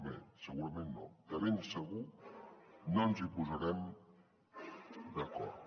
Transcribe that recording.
bé segurament no de ben segur no ens hi posarem d’acord